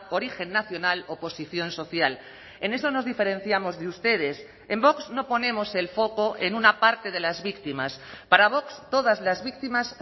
origen nacional o posición social en eso nos diferenciamos de ustedes en vox no ponemos el foco en una parte de las víctimas para vox todas las víctimas